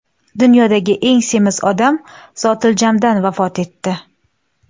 Dunyodagi eng semiz odam zotiljamdan vafot etdi.